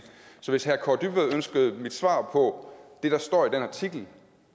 så hvis herre kaare dybvad ønskede mit svar på det der står i den artikel